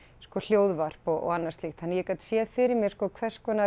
sko hljóðvarp og annað slíkt þannig að ég gat séð fyrir mér sko hvers konar